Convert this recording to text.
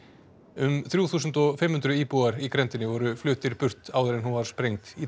um þrjú þúsund og fimm hundruð íbúar í grenndinni voru fluttir burt áður en hún var sprengd í